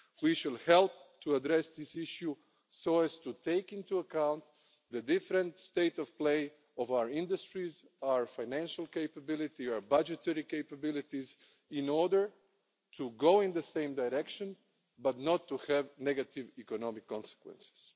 We should help to address this issue so as to take into account the different state of play of our industries, our financial capability, our budgetary capabilities, in order to go in the same direction but not to have negative economic consequences.